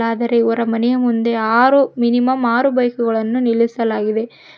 ಆದರೆ ಇವರ ಮನೆ ಮುಂದೆ ಆರು ಮಿನಿಮಮ್ ಆರು ಬೈಕುಗಳನ್ನು ನಿಲ್ಲಿಸಲಾಗಿದೆ.